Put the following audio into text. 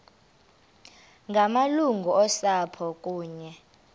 ngamalungu osapho kunye